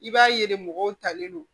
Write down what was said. I b'a ye de mɔgɔw talen don